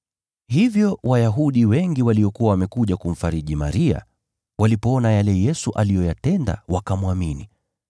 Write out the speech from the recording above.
Hivyo Wayahudi wengi waliokuwa wamekuja kumfariji Maria, walipoona yale Yesu aliyoyatenda wakamwamini.